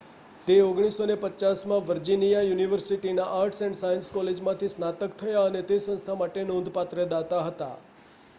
તે 1950 માં વર્જિનિયા યુનિવર્સિટીના આર્ટ્સ એન્ડ સાયન્સ કોલેજમાંથી સ્નાતક થયા અને તે સંસ્થા માટે નોંધપાત્ર દાતા હતા